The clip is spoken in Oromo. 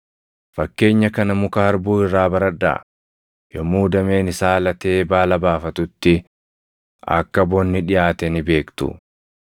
“Fakkeenya kana muka harbuu irraa baradhaa; yommuu dameen isaa latee baala baafatutti akka bonni dhiʼaate ni beektu.